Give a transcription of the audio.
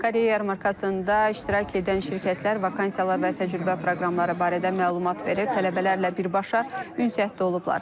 Karyera yarmarkasında iştirak edən şirkətlər vakansiyalar və təcrübə proqramları barədə məlumat verib, tələbələrlə birbaşa ünsiyyətdə olublar.